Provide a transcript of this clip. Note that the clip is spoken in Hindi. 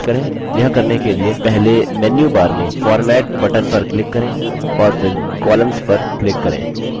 यह करने के लिए पहले menu bar में format button पर click करें और फिर columns पर click करें